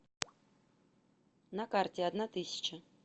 на карте одна тысяча